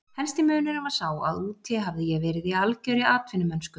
Helsti munurinn var sá að úti hafði ég verið í algjörri atvinnumennsku.